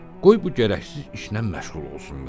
Qoy bu gərəksiz işlə məşğul olsunlar.